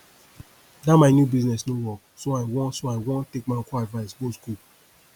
dat my new business no work so i wan so i wan take my uncle advice go school